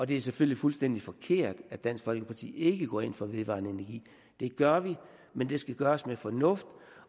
det er selvfølgelig fuldstændig forkert at at dansk folkeparti ikke går ind for vedvarende energi det gør vi men det skal gøres med fornuft